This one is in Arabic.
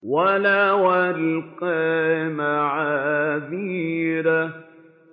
وَلَوْ أَلْقَىٰ مَعَاذِيرَهُ